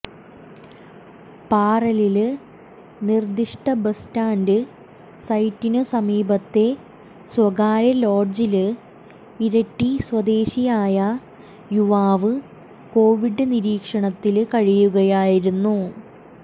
പാറാലില് നിര്ദിഷ്ട bus stand സൈറ്റിനു സമീപത്തെ സ്വകാര്യ ലോഡ്ജില് ഇരിട്ടി സ്വദേശിയായ യുവാവ് കോവിഡ് നിരീക്ഷണത്തില് കഴിയുകയായിരുന്നു